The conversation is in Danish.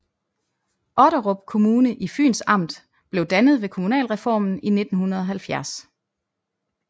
Otterup Kommune i Fyns Amt blev dannet ved kommunalreformen i 1970